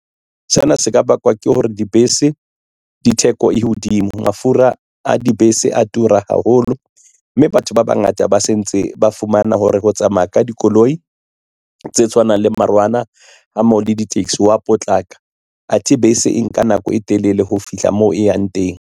Sena se ka bakwa ke hore dibese di theko e hodimo mafura a dibese a tura haholo mme batho ba bangata ba se ntse ba fumana hore ho tsamaya ka dikoloi tse tshwanang le marwana a mo le di-taxi wa potlaka athe bese e nka nako e telele ho fihla moo e yang teng.